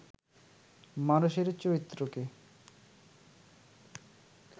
মানুষের চরিত্রকে